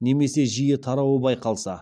немесе жиі тарауы байқалса